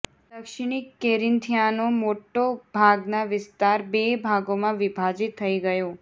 દક્ષિણી કેરિન્થિયાનો મોટોભાગના વિસ્તાર બે ભાગોમાં વિભાજીત થઇ ગયો